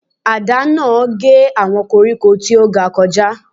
Àdá náà gé àwọn koríko tí ó ga kọjá.